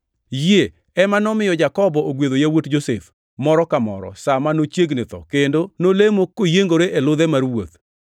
Yie ema nomiyo Jakobo ogwedho yawuot Josef, moro ka moro, sa ma nochiegni tho kendo nolemo koyiengore e ludhe mar wuoth.